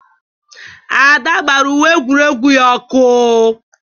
Ada gbara uwe egwuregwu ya ọkụ.